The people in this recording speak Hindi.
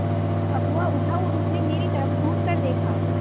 अगुआ उठा और उसने मेरी तरफ़ घूरकर देखा